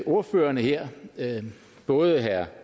ordførerne her både herre